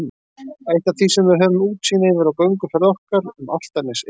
Eitt af því sem við höfum útsýn yfir á gönguferð okkar um Álftanes er